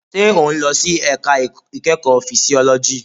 Ṣé o n lọ sí ẹ̀ka ìkẹ́kọ̀ọ́ fisiọ́lọ́jì?